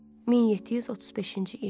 1735-ci il.